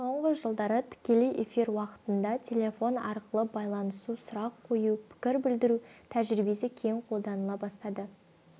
соңғы жылдары тікелей эфир уақытында телефон арқылы байланысу сұрақ қою пікір білдіру тәжірибесі кең қолданыла бастады